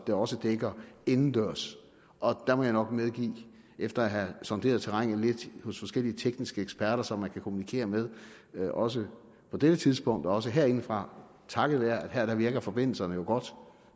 det også dækker indendørs og der må jeg nok medgive efter at have sonderet terrænet lidt hos forskellige tekniske eksperter som man kan kommunikere med med også på dette tidspunkt og også herindefra takket være at her virker forbindelserne jo